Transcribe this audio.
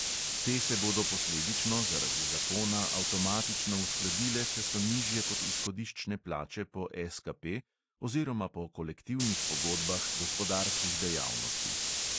Te se bodo posledično zaradi zakona avtomatično uskladile, če so nižje kot izhodiščne plače po SKP oziroma po kolektivnih pogodbah gospodarskih dejavnosti.